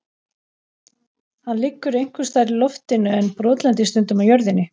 Hann liggur einhvers staðar í loftinu en brotlendir stundum á jörðinni.